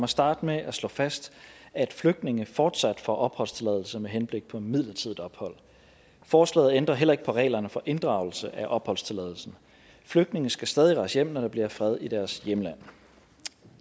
starte med at slå fast at flygtninge fortsat får opholdstilladelse med henblik på midlertidigt ophold og forslaget ændrer heller ikke på reglerne for inddragelse af opholdstilladelsen flygtninge skal stadig rejse hjem når der bliver fred i deres hjemland